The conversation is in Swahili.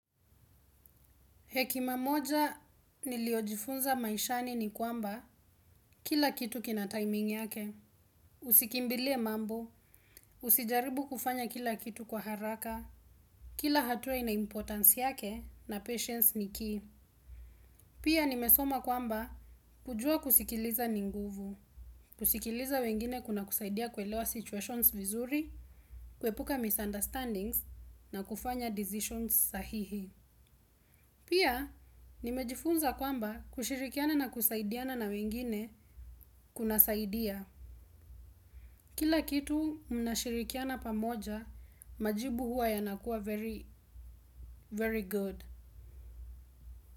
Hekima moja niliyojifunza maishani ni kwamba kila kitu kina timing yake. Usikimbilie mambo, usijaribu kufanya kila kitu kwa haraka, kila hatua ina importance yake na patience ni key. Pia nimesoma kwamba kujua kusikiliza ni nguvu, kusikiliza wengine kuna kusaidia kuelewa situations vizuri, kuepuka misunderstandings na kufanya decisions sahihi. Pia, nimejifunza kwamba kushirikiana na kusaidiana na wengine kuna saidia. Kila kitu mnashirikiana pamoja majibu huwa yanakuwa very very good.